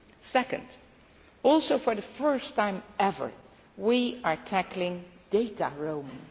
Secondly, also for the first time ever, we are tackling data roaming.